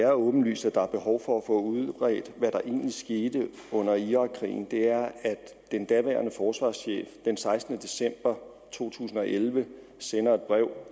er åbenlyst at der er behov for at få udredt hvad der egentlig skete under irakkrigen er at den daværende forsvarschef den sekstende december to tusind og elleve sendte et brev